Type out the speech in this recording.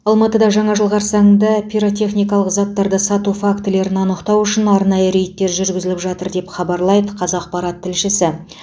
алматыда жаңа жыл қарсаңында пиротехникалық заттарды сату фактілерін анықтау үшін арнайы рейдтер жүргізіліп жатыр деп хабарлайды қазақпарат тілшісі